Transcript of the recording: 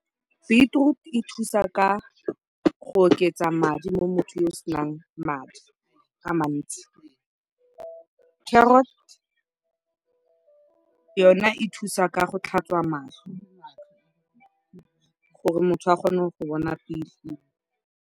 Beetroot e thusa ka go oketsa madi mo mothong yo o senang madi a mantsi, carrot yona e thusa ka go tlhatswa matlho gore motho a kgone go bona .